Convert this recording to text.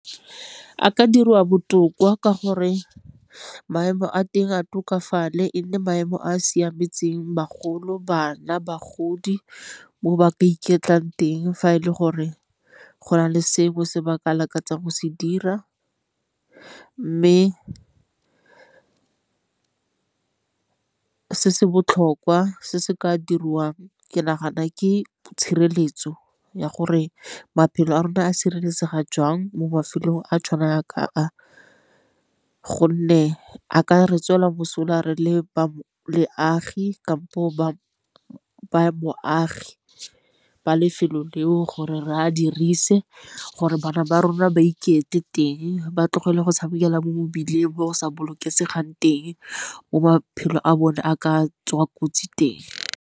A ka dirwa botoka ka gore maemo a teng a tokafale e nne maemo a a siametseng bagolo, bana, bagodi mo ba ka iketlang teng fa e le gore go na le sengwe se ba ka lakatsang go se dira. Mme se se botlhokwa se se ka dirwang ke nagana ke tshireletso ya gore maphelo a rona a sireletsega jang mo mafelong a tshwana ka a, gonne a ka re tswela mosola re le ba lefelo leo gore re a diriwa ise gore bana ba rona ba iketle teng ba tlogele go tshamekela mo mebileng bo sa bolokesegang teng mo maphelo a bone a ka tswa kotsi teng.